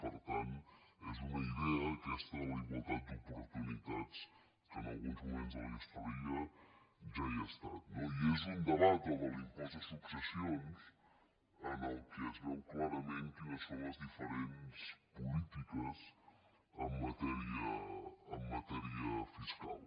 per tant és una idea aquesta de la igualtat d’oportunitats que en alguns moments de la història ja hi ha estat no i és un debat el de l’impost de successions en què es veu clarament quines són les diferents polítiques en matèria fiscal